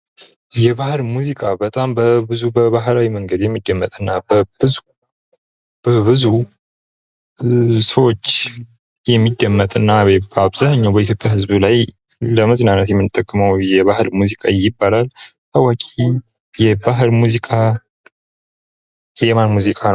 የባህል ሙዚቃ በጣም በጣም ብዙ ባህላዊ መንገድ የሚደመጥ እና በብዙ ሰዎች የሚደመጥና ለመዝናናት የምንጠቀሙ የባህል ሙዚቃ ይባላል ታዋቂ የባህል ሙዚቃ የማን ሙዚቃ ነው።